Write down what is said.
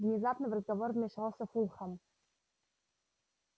внезапно в разговор вмешался фулхам